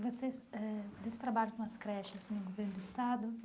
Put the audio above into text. Vocês eh desse trabalho com as creches no governo do estado.